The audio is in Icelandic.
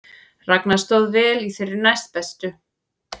Ragna stóð vel í þeirri næstbestu